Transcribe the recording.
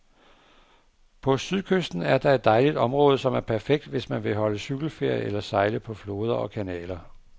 På sydkysten er der et dejligt område, som er perfekt, hvis man vil holde cykelferie eller sejle på floder og kanaler.